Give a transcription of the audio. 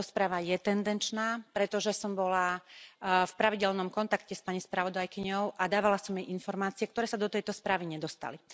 Táto správa je tendenčná, pretože som bola v pravidelnom kontakte s pani spravodajkyňou a dávala som jej informácie, ktoré sa do tejto správy nedostali.